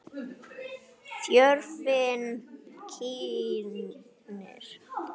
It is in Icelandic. Hún leikur djass og popp.